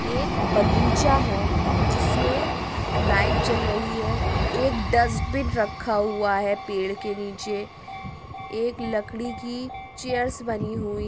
एक बगीचा है। जिसमे लाइट जल रही है। एक डस्ट्बिन रखा हुआ है पेड़ के नीचे एक लड़की कि चेयर्स बनी हुई --